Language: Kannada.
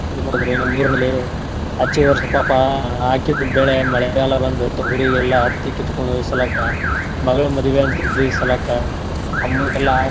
ನಮ್ಮ್ ಊರಲ್ಲಿ ಅಚ್ಚಿ ವರ್ಷ ಪಾಪ ಹಾಕಿದ್ ಬೆಳೆ ಮಳೆಗಾಲ ಬಂದು ತೊಗರಿ ಎಲ್ಲಾ ಹತ್ತಿ ಕಿತ್ಕೊಂಡು ಹೊಯ್ಸಲಕ್ಕ ಮಗ್ಳ್ ಮದ್ವಿ ಅಂತ ಇದ್ವಿ ಈ ಸಲಕ್ಕ amount ಎಲ್ಲಾ ಹಾಕಿ ಮಾಡಕ್